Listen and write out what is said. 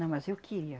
Não, mas eu queria.